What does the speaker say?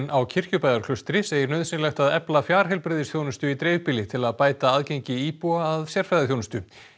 á Kirkjubæjarklaustri segir nauðsynlegt að efla fjarheilbrigðisþjónustu í dreifbýli til að bæta aðgengi íbúa að sérfræðiþjónustu